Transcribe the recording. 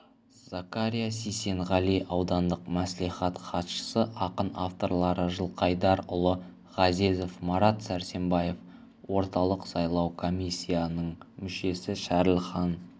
закария сисенғали аудандық мәслихат хатшысы ақын авторлары жылқайдарұлы ғазезов марат сәрсембаев орталық сайлау комиссиясының мүшесі шәріпхан